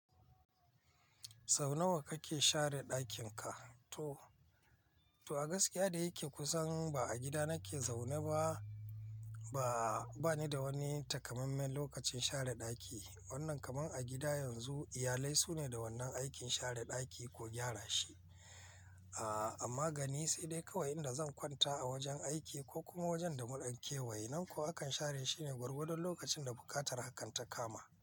Sau nawa kake share ɗakin ka? To, to a gaskiya da yake kusan ba a gida nake zaune ba, ba, bani da wani takammamen lokacin share ɗaki. Wannan kamar a gida yanzu, iyalai su ne da wannan aikin share ɗaki ko gyara shi. Amma gani sai dai kawai inda zan kwanta a wajen aiki ko kuma wajen da mun kewaye. Nan ko akan share shi ne gwargwadon lokacin da buƙatar hakan ta kama.